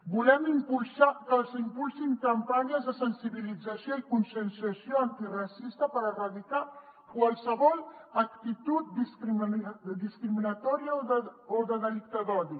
volem que s’impulsin campanyes de sensibilització i conscienciació antiracista per erradicar qualsevol actitud discriminatòria o de delicte d’odi